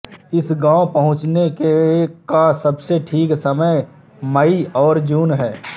इस गाँव पहुँचने का सबसे ठीक समय मई और जून है